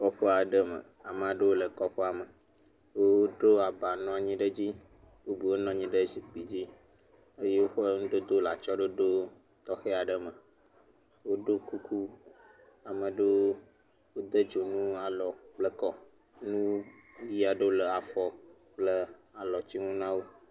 Kɔƒe aɖe me. Ame aɖewo le kɔƒea me. Woɖo aba nɔ anyi ɖe edzi bubuwo nɔ anyi ɖe zikpui dzi eye woƒe nudodowo le atsɔɖoɖo tɔxɛ aɖe me. Woɖo kuku ame aɖewo wode dzonu alɔ kle akɔ. Nu ʋi aɖewo le afɔ kple alɔtsinu na wo.